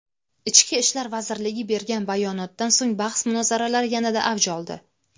Ichki ishlar vazirligi bergan bayonotdan so‘ng bahs-munozaralar yanada avj oldi.